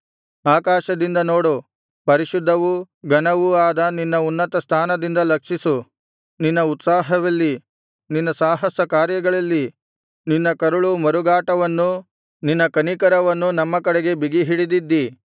ಆಕಾಶದಿಂದ ನೋಡು ಪರಿಶುದ್ಧವೂ ಘನವೂ ಆದ ನಿನ್ನ ಉನ್ನತಸ್ಥಾನದಿಂದ ಲಕ್ಷಿಸು ನಿನ್ನ ಉತ್ಸಾಹವೆಲ್ಲಿ ನಿನ್ನ ಸಾಹಸ ಕಾರ್ಯಗಳೆಲ್ಲಿ ನಿನ್ನ ಕರುಳ ಮರುಗಾಟವನ್ನೂ ನಿನ್ನ ಕನಿಕರವನ್ನೂ ನಮ್ಮ ಕಡೆಗೆ ಬಿಗಿ ಹಿಡಿದಿದ್ದಿ